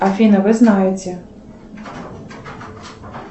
афина вы знаете